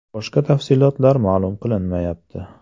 Boshqa tafsilotlar ma’lum qilinmayapti.